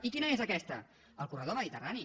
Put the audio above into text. i quina és aquesta el corredor mediterrani